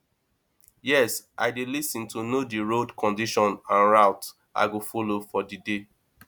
yes i dey lis ten to know di road condition and route i go follow for di day